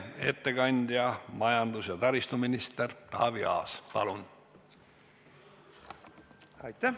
Ettekandja majandus- ja taristuminister Taavi Aas, palun!